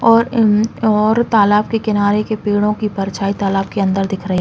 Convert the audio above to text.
और इन और तालाब के किनारे की पेड़ों की परछाई तालाब के अंदर दिख रही --